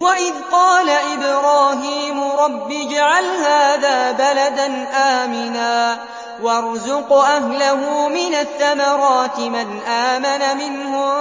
وَإِذْ قَالَ إِبْرَاهِيمُ رَبِّ اجْعَلْ هَٰذَا بَلَدًا آمِنًا وَارْزُقْ أَهْلَهُ مِنَ الثَّمَرَاتِ مَنْ آمَنَ مِنْهُم